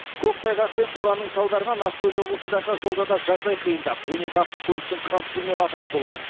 көктайғақ пен боранның салдарынан ақтөбе облысындағы жолда да жағдай қиындап он екі автокөліктің қатысуымен апат болған